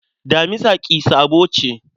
Damisa ƙi-sabo ce.